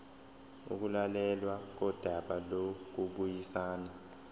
ukulalelwa kodaba lokubuyisana